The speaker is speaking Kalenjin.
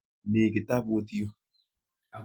Mi kitaput yu.